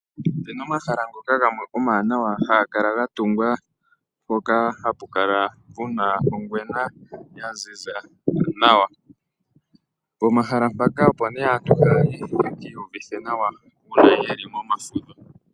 Ope na omahala gamwe ngoka omawanawa haga kala ga tungwa mpoka hapu kala pu na ongwena ya ziza nawa. Pomahala mpaka, opo aantu haya yi yeki iyuvithe nawa uuna ye li momafudho.